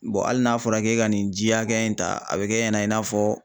hali n'a fɔra k'e ka nin ji hakɛya in ta a bi kɛ ɲɛna i n'a fɔ